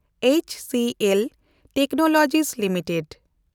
HCL technology limited